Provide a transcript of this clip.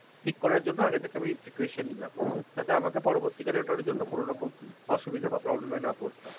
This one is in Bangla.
ঠিক করার জন্য আগে থেকে আমি থেকে precaution নিলাম, যাতে আমাকে পরবর্তীকালে অসুবিধা বা problem এ না পড়তে হয়,